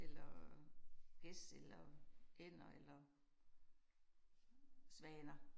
Eller gæs eller ænder eller svaner